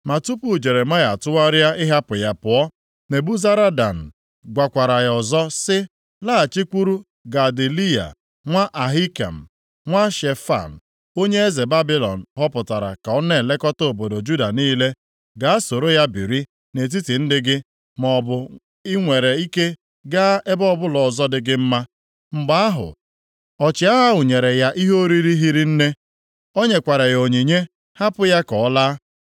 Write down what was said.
Ma tupu Jeremaya atụgharịa ịhapụ ya pụọ, Nebuzaradan gwakwara ya ọzọ sị, “Laghachikwuru Gedaliya nwa Ahikam, nwa Shefan, onye eze Babilọn họpụtara ka ọ na-elekọta obodo Juda niile. Gaa soro ya biri nʼetiti ndị gị, maọbụ i nwere ike gaa ebe ọbụla ọzọ dị gị mma.” Mgbe ahụ, ọchịagha ahụ nyere ya ihe oriri hiri nne. O nyekwara ya onyinye, hapụ ya ka ọ laa.